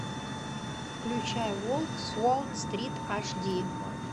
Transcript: включай волк с уолл стрит аш ди